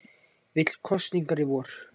Vill kosningar í vor